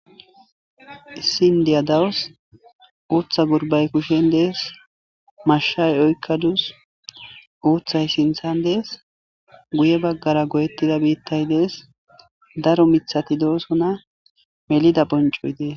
Issin diya dawus uutha gurbay kushen dees mashay oykkaduus uuthay sinthan dees guye baggara goyettida biittay dees daro mithati doosona melida phoncoy dees.